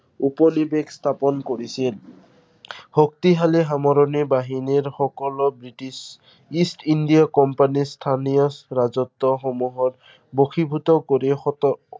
উপনিবেশ স্থাপন কৰিছিল। শক্তিশালী বাহিনীৰ সকলো বৃটিছ ইষ্ট ইন্দিয়া কোম্পানীৰ স্থানীয় ৰাজত্বসমূহৰ, বশীভূত কৰি